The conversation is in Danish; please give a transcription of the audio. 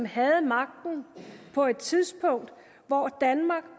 havde magten på et tidspunkt hvor danmark